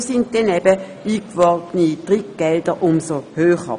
Dafür lagen dann eben die eingeworbenen Drittgelder umso höher.